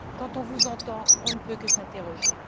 Quand on vous entend, on ne peut que s'interroger.